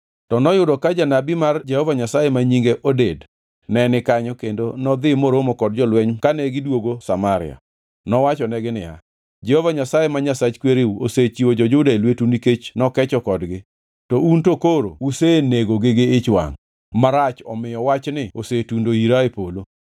To noyudo ka janabi mar Jehova Nyasaye ma nyinge Oded ne ni kanyo kendo nodhi moromo kod jolweny kane gidwogo Samaria. Nowachonegi niya, “Jehova Nyasaye, ma Nyasach kwereu osechiwo jo-Juda e lwetu nikech nokecho kodgi, to un to koro usenegogi gi ich wangʼ marach omiyo wachni osetundo ira e polo.